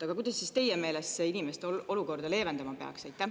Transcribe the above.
Aga kuidas teie meelest see inimeste olukorda leevendama peaks?